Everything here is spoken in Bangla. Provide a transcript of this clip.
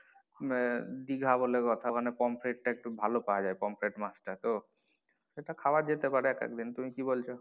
আহ দিঘা বলে কথা ওখানে পমফ্রে টা একটু ভালো পাওয়া যায় পমফ্রে মাছ টা তো সেটা খাওয়া যেতে পারে এক আদ দিন তুমি কী বলছ?